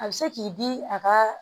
A bɛ se k'i di a ka